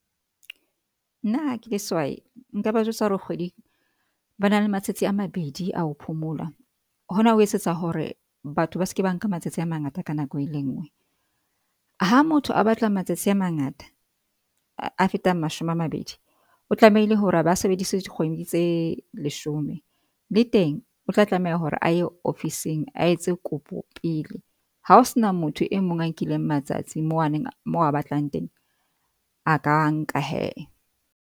Nna ha ke le sehwai, nka ba jwetsa hore kgweding ba na le matsatsi a mabedi ao phomola. Hona ho etsetsa hore batho ba se ke ba nka matsatsi a mangata ka nako e le nngwe. Ha motho a batla matsatsi a mangata a fetang mashome a mabedi, o tlamehile hore a ba sebeditse dikgwedi tse leshome le teng o tla tlameha hore a ye ofising a etse kopo pele. Ha o sena motho e mong a nkileng matsatsi moo aneng moo a batlang teng, a ka a nka he.